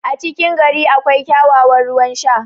a cikin gari akwai kyakkyawan ruwan Sha